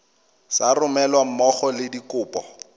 sa romelweng mmogo le dikopo